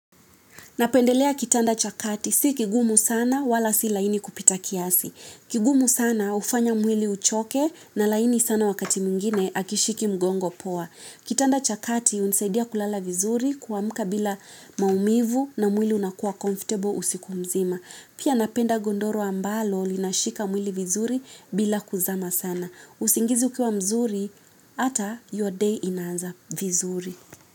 Napendelea kitanda cha kati. Si kigumu sana wala si laini kupita kiasi. Kigumu sana hufanya mwili uchoke na laini sana wakati mwingine akishiki mgongo poa. Kitanda cha kati hunisaidia kulala vizuri kuamka bila maumivu na mwili unakua comfortable usiku mzima. Pia napenda gondoro ambalo linashika mwili vizuri bila kuzama sana. Usingizi ukiwa mzuri ata your day inaaza vizuri.